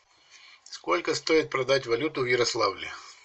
сколько стоит продать валюту в ярославле